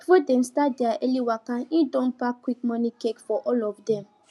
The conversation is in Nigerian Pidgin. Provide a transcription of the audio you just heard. before dem start their early waka e don pack quick morning cake for all of dem